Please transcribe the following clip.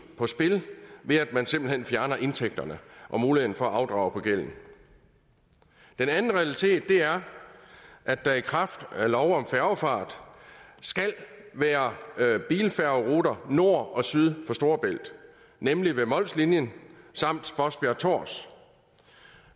på spil ved at man simpelt hen fjerner indtægterne og muligheden for at afdrage gælden den anden realitet er at der i kraft af lov om færgefart skal være bilfærgeruter nord og syd for storebælt nemlig ved mols linien samt spodsbjerg tårs